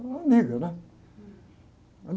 Ela era uma amiga, né?